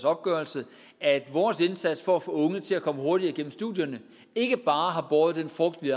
opgørelse at vores indsats for at få unge til at komme hurtigere igennem studierne ikke bare har båret den frugt vi